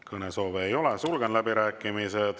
Kõnesoove ei ole, sulgen läbirääkimised.